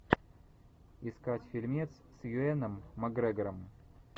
искать фильмец с юэном макгрегором